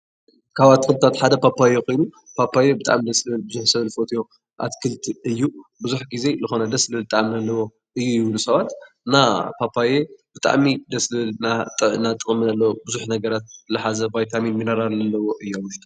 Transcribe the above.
ካብ ኣትክልታት ሓደ ፖፓዮ ኮይኑ ፓፓዮ ኩሉ ሰብ ዝፈትዮ ኣትክልቲ እዩ። ብዙሕ ግዜ ዝኮነ ብጣዕሚ ደስ ዝብል ጣዕሚ ዘለዎ እዩ ይብሉ ሰባት እና ፓፓየ ብጣዕሚ ደስ ዝብል ናይ ጥዕና ጠቅሚ ቡዙሕ ነገራት ዝሓዘ ኮይኑ ቫይታሚን ሚነራላት ዝሓዘ እዩ ኣብ ውሽጡ።